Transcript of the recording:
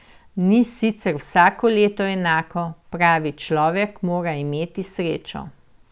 Ni sicer vsako leto enako, pravi, človek mora imeti srečo.